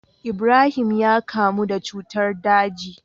Ibrahim ya kamu da cutar daji